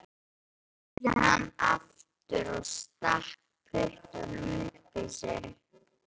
spurði hann aftur og stakk puttanum upp í sig.